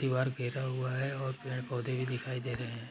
दीवार घिरा हुआ है और पेड़-पौधे भी दिखाई दे रहे हैं।